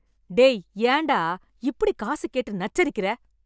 டேய் ஏண்டா இப்டி காசுக் கேட்டு நச்சரிக்கற?